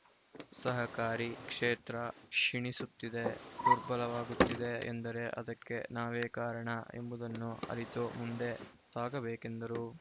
ಸಹಕಾರಿ ಕ್ಷೇತ್ರ ಕ್ಷಿಣಿಸುತ್ತಿದೆ ದುರ್ಬಲವಾಗುತ್ತಿದೆ ಎಂದರೆ ಅದಕ್ಕೆ ನಾವೇ ಕಾರಣ ಎಂಬುದನ್ನು ಅರಿತು ಮುಂದೆ ಸಾಗಬೇಕೆಂದರು